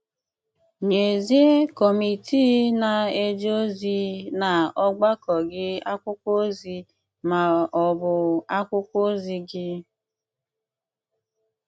Nyézìe kọ́mitii na-eje ozi n’ọ̀gbàkọ̀ gị akwụkwọ ozi ma ọ̀bụ̀ akwụkwọ ozi gị.